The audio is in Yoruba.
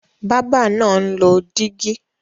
Bábà náà ń lọ dígí.